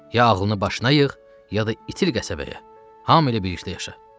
Ya ağlını başına yığ, ya da itil qəsəbəyə, hamı elə birlikdə yaşa.